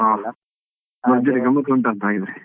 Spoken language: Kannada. ಹಾ ಭರ್ಜರಿ ಗಮ್ಮತ್ತು ಉಂಟಾ ಅಂತ ಹಾಗಿದ್ರೆ?